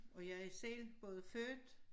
Og jeg er selv både født